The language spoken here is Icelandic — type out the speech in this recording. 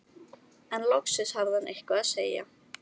En loksins hafði hann eitthvað að segja.